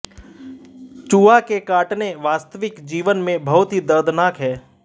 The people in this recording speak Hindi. चूहा के काटने वास्तविक जीवन में बहुत ही दर्दनाक है